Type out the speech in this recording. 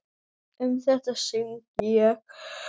Um þetta söng ég